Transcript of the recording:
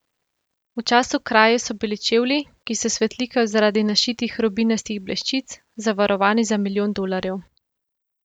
V času kraje so bili čevlji, ki se svetlikajo zaradi našitih rubinastih bleščic, zavarovani za milijon dolarjev.